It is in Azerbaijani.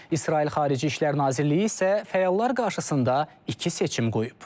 İsrail Xarici İşlər Nazirliyi isə fəallar qarşısında iki seçim qoyub.